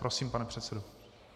Prosím, pane předsedo.